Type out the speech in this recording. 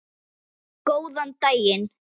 Góðan daginn.